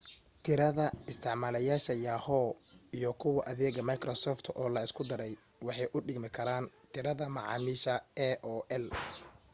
tirada isticmaalayaasha yahoo iyo kuwa adeega microsoft oo la isku daray waxay u dhigmi karaan tirada macaamiisha aol